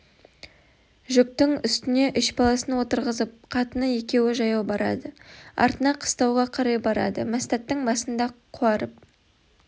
жүктің үстіне үш баласын отырғызып қатыны екеуі жаяу барады артына қыстауға қарай барады мәстәттің басында қуарып